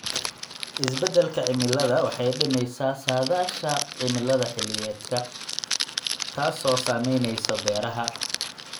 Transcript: Isbeddelka cimiladu waxay dhimaysaa saadaasha cimilada xilliyeedka, taasoo saamaynaysa beeraha.